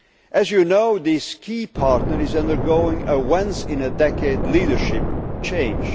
one. As you know, this key partner is undergoing a once in a decade' leadership change.